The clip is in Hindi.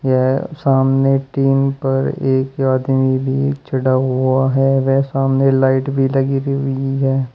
यह सामने टीन पर एक आदमी भी चढ़ा हुआ है वह सामने लाइट भी लगी हुई है।